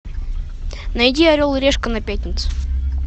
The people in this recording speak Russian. найди орел и решка на пятнице